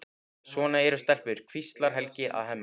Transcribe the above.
Svona eru stelpur, hvíslar Helgi að Hemma.